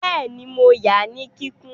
Bẹ́ẹ̀ni, mo ya ní kíkún